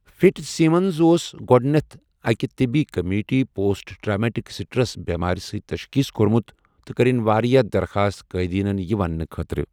Fitzsimmons اوس گۄڈٕنیتھ أکہِ طِبی کُمِٹی پوسٹ ٹرامیٹک سٹریس بٮ۪مارِ سۭتۍ تشخیٖص کوٚرمُت تہٕ کٔرٕنۍ واریاہ دَرخاست قایدیٖنن یہِ وننہٕ خٲطرٕ۔